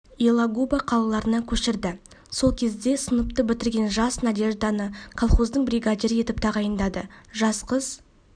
елагуба қалаларына көшірді сол кезде сыныпты бітірген жас надежданы колхоздың бригадирі етіп тағайындады жас қыз